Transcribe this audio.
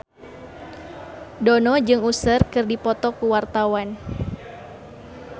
Dono jeung Usher keur dipoto ku wartawan